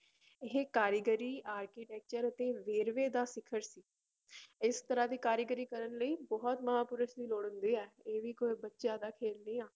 ਇਹ ਕਾਰੀਗਰੀ architecture ਅਤੇ ਵੇਰਵੇ ਦਾ ਸਿਖ਼ਰ ਸੀ ਇਸ ਤਰ੍ਹਾਂ ਦੀ ਕਾਰੀਗਰੀ ਕਰਨ ਲਈ ਬਹੁਤ ਮਹਾਂਪੁਰਸ਼ ਦੀ ਲੋੜ ਹੁੰਦੀ ਹੈ ਇਹ ਵੀ ਕੋਈ ਬੱਚਿਆਂ ਦਾ ਖੇਲ ਨਹੀਂ ਆਂ।